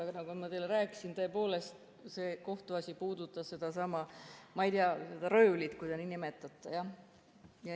Aga nagu ma teile rääkisin, siis tõepoolest see kohtuasi puudutas sedasama, ma ei tea, röövlit, kui te nii nimetate, jah.